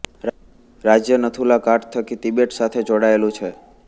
રાજય નથુલા ઘાટ થકી તિબેટ સાથે જોડાયેલું છે